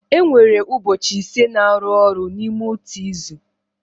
E nwere ụbọchị ise na-arụ ọrụ n'ime otu izu.